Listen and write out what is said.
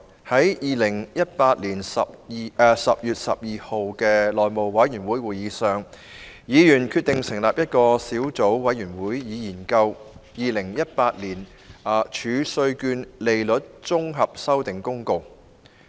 在2018年10月12日的內務委員會會議上，議員決定成立一個小組委員會，以研究《2018年儲稅券公告》。